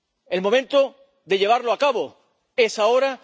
El momento de llevarla a cabo es ahora.